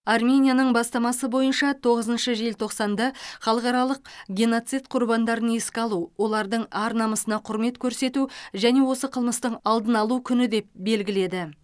арменияның бастамасы бойынша тоғызыншы желтоқсанды халықаралық геноцид құрбандарын еске алу олардың ар намысына құрмет көрсету және осы қылмыстың алдын алу күні деп белгіледі